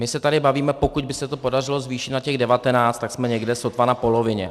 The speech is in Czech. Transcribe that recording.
My se tady bavíme, pokud by se to podařilo zvýšit na těch 19, tak jsme někde sotva na polovině.